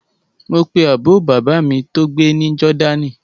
Mo pe àbúrò bàbá mi tó gbé ní Jordan